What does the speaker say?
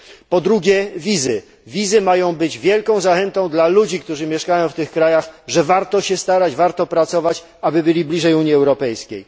Po drugie, wizy mają być one wielką zachętą dla ludzi, którzy mieszkają w tych krajach, że warto się starać, że warto pracować, aby być bliżej Unii Europejskiej.